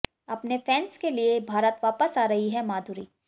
अपने फैन्स के लिए भारत वापस आ रही हैं माधुरी